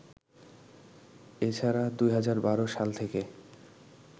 এছাড়া ২০১২ সাল থেকে